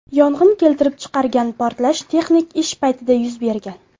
Yong‘in keltirib chiqargan portlash texnik ish paytida yuz bergan.